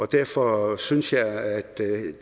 derfor synes jeg at